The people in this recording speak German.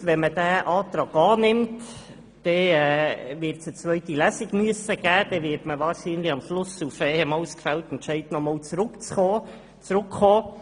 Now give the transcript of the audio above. Ich bin mir bewusst, dass durch die Annahme dieses Antrags eine zweite Lesung durchzuführen wäre, sodass Sie am Schluss auf den bereits gefällten Entscheid zurückkommen müssten.